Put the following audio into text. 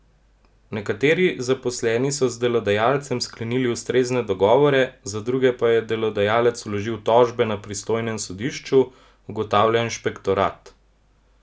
Nekateri zaposleni so z delodajalcem sklenili ustrezne dogovore, za druge pa je delodajalec vložil tožbe na pristojnem sodišču, ugotavlja inšpektorat.